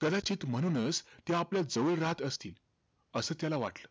कदाचित म्हणूनचं, ते आपल्या जवळ राहत असतील, असं त्याला वाटलं.